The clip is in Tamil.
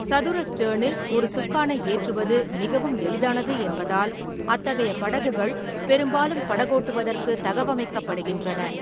சதுர ஸ்டெர்னில் ஒரு சுக்கானை ஏற்றுவது மிகவும் எளிதானது என்பதால், அத்தகைய படகுகள் பெரும்பாலும் படகோட்டுவதற்கு தகவமைக்கப்படுகின்றன.